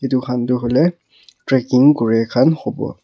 edu khan toh hoilae tracking kurikhan howo.